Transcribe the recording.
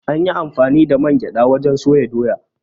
An yi amfani da man gyaɗa wajen soya Doya.